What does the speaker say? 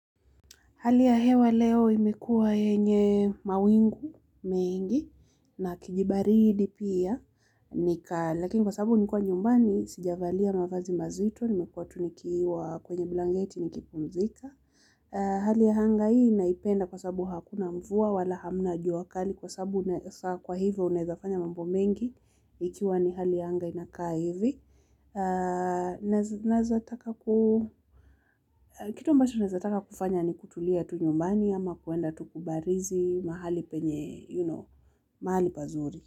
Hali ya hewa leo imekuwa yenye mawingu mengi na kijibaridi pia. Lakini kwa sababu nilikuwa nyumbani, sijavalia mavazi mazito, nimekuwa tu nikiwa kwenye blanketi nikipumzika. Hali ya anga hii naipenda kwa sababu hakuna mvua, wala hamna jua kali kwa sababu kwa hivyo unaweza fanya mambo mengi, ikiwa ni hali ya anga inakaa hivi naweza taka naeza taka kufanya ni kutulia tu nyumbani ama kuenda tu kubarizi mahali pazuri.